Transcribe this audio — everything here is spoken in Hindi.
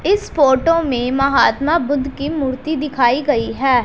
इस फोटो में महात्मा बुद्ध की मूर्ति दिखाई गई है।